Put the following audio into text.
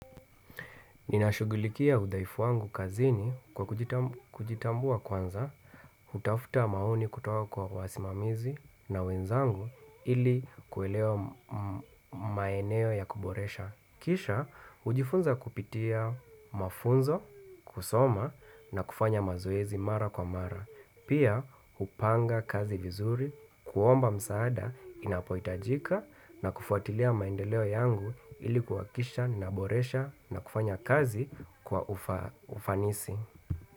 Ninashughulikia hudhaifu wangu kazini kwa kujitamb kujitambua kwanza, hutafuta maoni kutoa kwa wasimamizi na wenzangu ili kuelewa m m mmaeneo ya kuboresha. Kisha, hujifunza kupitia mafunzo, kusoma na kufanya mazoezi mara kwa mara. Pia, hupanga kazi vizuri, kuomba msaada, inapoitajika na kufuatilia maendeleo yangu ili kuakisha, naboresha na kufanya kazi kwa ufa ufanisi.